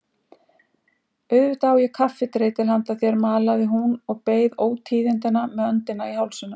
Auðvitað á ég kaffidreitil handa þér malaði hún og beið ótíðindanna með öndina í hálsinum.